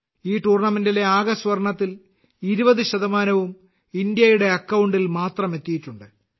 ഈ ടൂർണമെന്റിലെ ആകെ സ്വർണത്തിൽ 20 ശതമാനവും ഇന്ത്യയുടെ അക്കൌണ്ടിൽ മാത്രം എത്തിയിട്ടുണ്ട്